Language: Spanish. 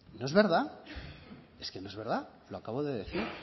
no es verdad es que no es verdad lo acabo de decir